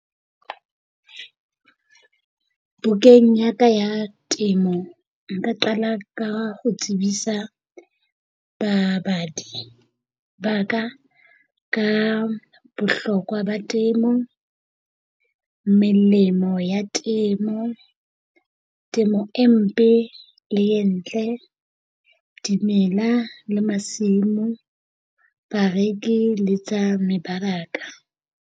Bukeng ya ka ya temo nka qala ka ho tsebisa babadi ba ka ka bohlokwa ba temo. Melemo ya temo. Temo e mpe le e ntle. Dimela le masimo. Bareki le tsa mebaraka,